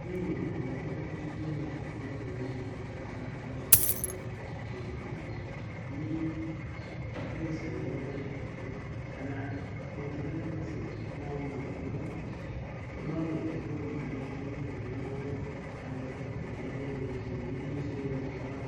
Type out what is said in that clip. Niĩ maũndũ marĩa ingĩendekithia ma kũagĩrithia mũtaratara wa kũandĩkithia mohiki Kenya, nĩ mbeca iria marĩhagio, Kana motungata macio no monwo, no mekĩrwo intaneti-inĩ kũrĩa mũndũ angĩhota kwĩihũrĩria ciũria iria cirorio hau.